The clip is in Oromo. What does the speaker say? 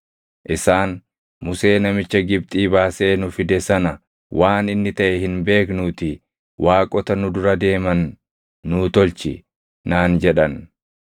Isaan, ‘Musee namicha Gibxii baasee nu fide sana waan inni taʼe hin beeknuutii waaqota nu dura deeman nuu tolchi’ naan jedhan.